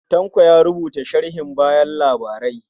Tanko ya rubuta sharhin bayan labarai.